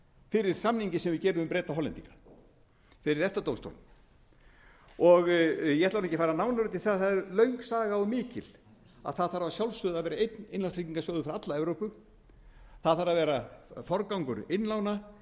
fyrir samninginn sem við gerum við breta og hollendinga fyrir réttardómstólnum ég ætla ekki að fara nánar út í það það er löng saga og mikil að það þarf að sjálfsögðu að vera einn innlánstryggingarsjóður fyrir alla evrópu það þarf að vera forgangur innlána